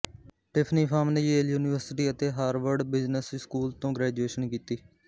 Tiffany Pham ਨੇ Yale university ਅਤੇ Harvard business school ਤੋਂ ਗ੍ਰੈਜੁਏਸ਼ਨ ਕੀਤੀ